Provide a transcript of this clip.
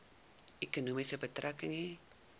ekonomie betrekking hê